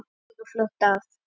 Þetta tekur fljótt af.